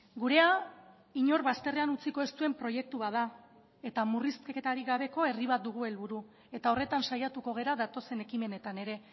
gurea inor bazterrean utziko ez duen proiektu bat da eta murrizketarik gabeko herri bat dugu helburu eta horretan saiatuko gara datozen ekimenetan ere